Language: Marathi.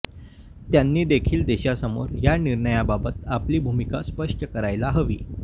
त्यांनी देखील देशासमोर या निर्णयाबाबत आपली भूमिका स्पष्ट करायला हवी